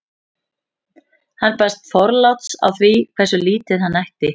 hann baðst forláts á því hversu lítið hann ætti